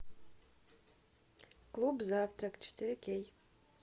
клуб завтрак четыре кей